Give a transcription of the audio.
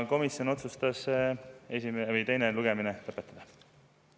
Komisjon otsustas teine lugemine lõpetada.